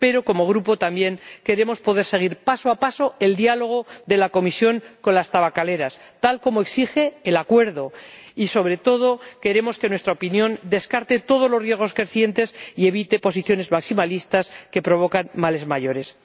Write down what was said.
Pero como Grupo también queremos poder seguir paso a paso el diálogo de la Comisión con las tabacaleras, tal como exige el Acuerdo y, sobre todo, queremos que nuestra opinión descarte todos los riesgos crecientes y evite posiciones maximalistas que provocan males mayores.